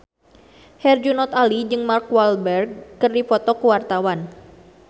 Herjunot Ali jeung Mark Walberg keur dipoto ku wartawan